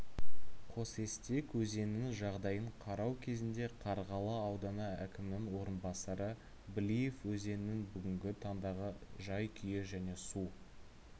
қосестек өзенінің жағдайын қарау кезінде қарғалы ауданы әкімінің орынбасары блиев өзеннің бүгінгі таңдағы жай-күйі және су